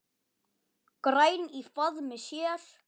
græn í faðmi sér.